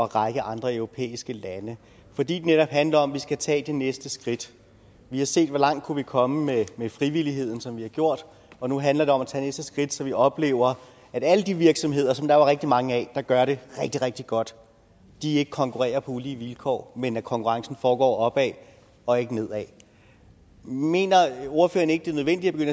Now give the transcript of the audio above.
række andre europæiske lande fordi det netop handler om at vi skal tage det næste skridt vi har set hvor langt vi kunne komme med frivilligheden som vi har gjort og nu handler det om at tage næste skridt så vi oplever at alle de virksomheder som der jo er rigtig mange af der gør det rigtig rigtig godt ikke konkurrerer på ulige vilkår men at konkurrencen foregår opad og ikke nedad mener ordføreren ikke det er nødvendigt at